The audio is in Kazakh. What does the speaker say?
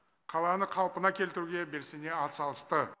қаланы қалпына келтіруге белсене атсалысты